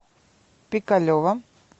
пикалево